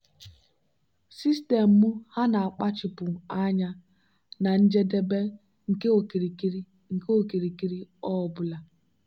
sistemu ha na-akpachapụ anya na njedebe nke okirikiri nke okirikiri ọ bụla.